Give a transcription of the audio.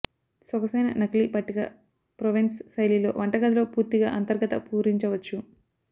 సొగసైన నకిలీ పట్టిక ప్రోవెన్స్ శైలిలో వంటగదిలో పూర్తిగా అంతర్గత పూరించవచ్చు